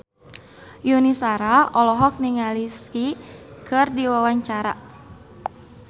Yuni Shara olohok ningali Psy keur diwawancara